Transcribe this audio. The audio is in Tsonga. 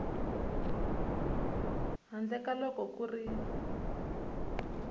handle ka loko ku ri